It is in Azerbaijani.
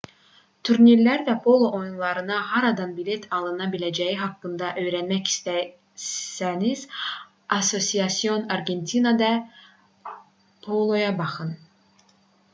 turnirlər və polo oyunlarına haradan bilet alına biləcəyi haqqında öyrənmək istəsəniz asociacion argentina de polo-ya baxın